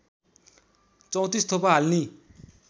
३४ थोपा हाल्ने